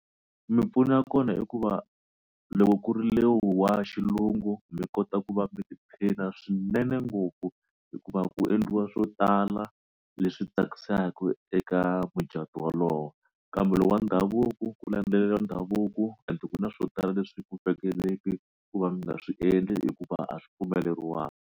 Mipfuno ya kona i ku va loko ku ri lowu wa xilungu mi kota ku va mi tiphina swinene ngopfu hikuva ku endliwa swo tala leswi tsakisaka eka mucatu wolowo kambe loko wa ndhavuko ku landzeleriwa ndhavuko ende ku na swo tala leswi ku tsakeleki ku va mi nga swi endli hikuva a swi pfumeleriwanga.